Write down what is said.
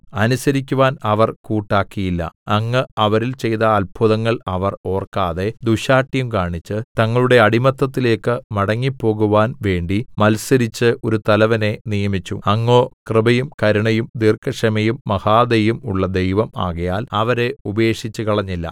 അനുസരിക്കുവാൻ അവർ കൂട്ടാക്കിയില്ല അങ്ങ് അവരിൽ ചെയ്ത അത്ഭുതങ്ങൾ അവർ ഓർക്കാതെ ദുശ്ശാഠ്യം കാണിച്ച് തങ്ങളുടെ അടിമത്തത്തിലേക്ക് മടങ്ങിപ്പോകുവാൻ വേണ്ടി മത്സരിച്ച് ഒരു തലവനെ നിയമിച്ചു അങ്ങോ കൃപയും കരുണയും ദീർഘക്ഷമയും മഹാദയയും ഉള്ള ദൈവം ആകയാൽ അവരെ ഉപേക്ഷിച്ചുകളഞ്ഞില്ല